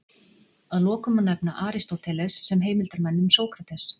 Að lokum má nefna Aristóteles sem heimildarmann um Sókrates.